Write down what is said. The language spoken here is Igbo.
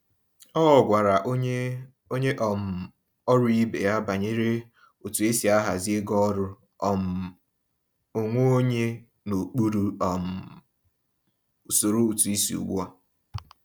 O gwara onye onye um ọrụ ibe ya banyere otu esi ahazi ego ọrụ um onwe onye n’okpuru um usoro ụtụisi ugbu a.